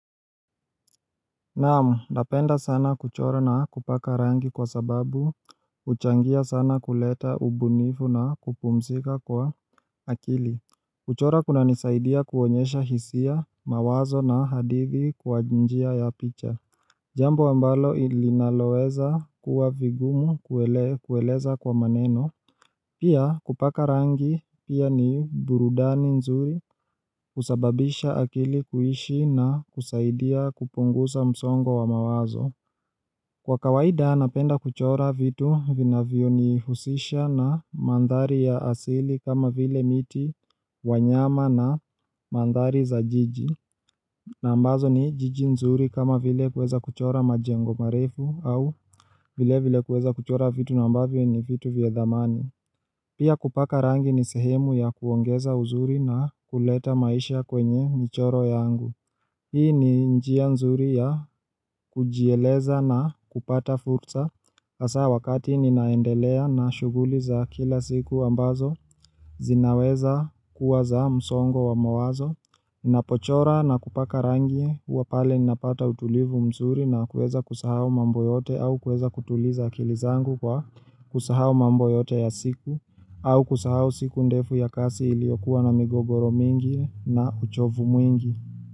Naamu, napenda sana kuchora na kupaka rangi kwa sababu huchangia sana kuleta ubunifu na kupumzika kwa akili kuchora kuna nisaidia kuonyesha hisia, mawazo na hadithi kwa njia ya picha Jambo ambalo ilinaloweza kuwa vigumu kueleza kwa maneno Pia kupaka rangi pia ni burudani nzuri husababisha akili kuishi na husaidia kupungusa msongo wa mawazo Kwa kawaida napenda kuchora vitu vinavyo nihusisha na mandhari ya asili kama vile miti wanyama na mandhari za jiji na ambazo ni jiji nzuri kama vile kueza kuchora majengo marefu au vile vile kueza kuchora vitu na ambavyo ni vitu vya dhamani Pia kupaka rangi ni sehemu ya kuongeza uzuri na huleta maisha kwenye michoro yangu. Hii ni njia nzuri ya kujieleza na kupata furza. Hasa wakati ninaendelea na shuguli za kila siku ambazo, zinaweza kuwa za msongo wa mawazo. Ninapochora na kupaka rangi huwa pale ninapata utulivu mzuri na kueza kusahau mambo yote au kuweza kutuliza akili zangu kwa kusahau mambo yote ya siku au kusahau siku ndefu ya kasi iliokuwa na migogoro mingi na uchovu mwingi.